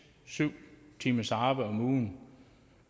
syv timers arbejde om ugen